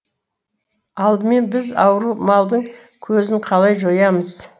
алдымен біз ауру малдың көзін қалай жоямыз